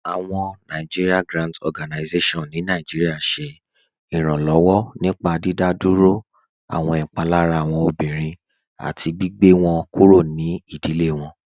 Awọn NGO ni Nàìjíríà ṣẹ iranlọwọ nípá dídádúró awọn ipalara awọn ọmọbìrín àti gbìgbẹ̀ wọn kúrò ní ìdílé wọn.